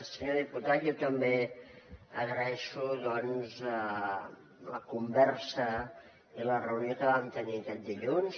senyor diputat jo també agraeixo la conversa i la reunió que vam tenir aquest dilluns